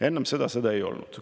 Enne seda sõda ei olnud.